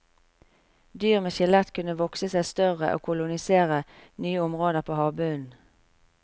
Dyr med skjelett kunne vokse seg større og kolonisere nye områder på havbunnen.